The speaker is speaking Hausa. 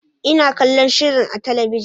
Ina kallon shirin a talabijin.